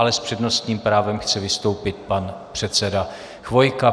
Ale s přednostním právem chce vystoupit pan předseda Chvojka.